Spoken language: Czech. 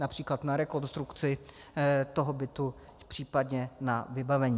Například na rekonstrukci toho bytu, případně na vybavení.